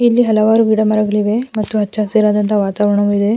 ಇಲ್ಲಿ ಹಲವಾರು ಗಿಡ ಮರಗಳಿವೆ ಮತ್ತು ಹಚ್ಚ ಹಸಿರಾದಂಥ ವಾತಾವರಣವು ಇದೆ.